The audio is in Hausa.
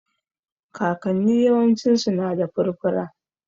Kakanni yawancinsu na da furfura